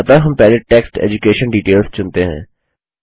अतः हम पहले टेक्स्ट एड्यूकेशन डिटेल्स चुनते हैं